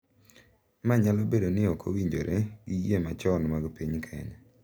Ma nyalo bedo ni ok owinjore gi yie machon mag piny Kenya